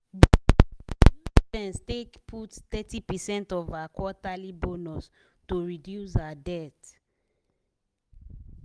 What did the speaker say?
d investor use sense take put thirty percent of her quarterly bonus to reduce her debt